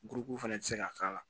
fɛnɛ ti se ka k'a la